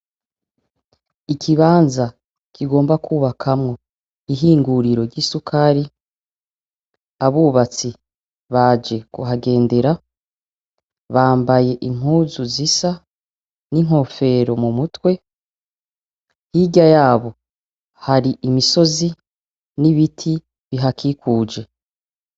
Ikibanza kigomba kubakamwo ihinguriro ry'isukari, abubatsi ,baje kuhagendera. Bambaye impuzu zisa n'inkofero mumutwe. Hirya yabo hari imisozi n'ibiti bihakikuje.